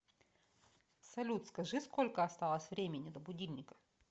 салют скажи сколько осталось времени до будильника